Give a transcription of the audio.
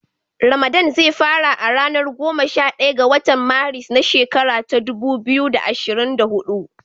Ramadan ze fara a ranar goma sha daya ga watan Maris na shekara ta dubu biyu da ashirin da huɗu.